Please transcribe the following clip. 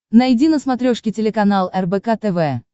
найди на смотрешке телеканал рбк тв